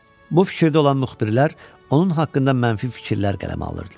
Bu fikirdə olan müxbirlər onun haqqında mənfi fikirlər qələmə alırdılar.